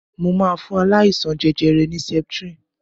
Mo máa fún aláìsaln jẹjẹrẹ ní septrin.